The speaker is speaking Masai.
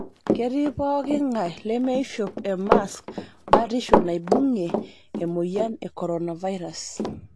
Ketii pooki ng'ae lemeishop e maask batisho naibung'ie emoyiani e koronavirus